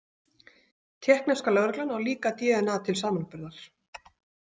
Tékkneska lögreglan á líka dna til samanburðar.